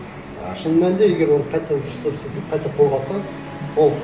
ы шын мәнінде егер оны қайтадан дұрыстап істесе қайта қолға алса ол